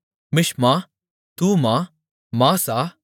மிஷ்மா தூமா மாசா